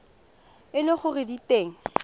e le gore di teng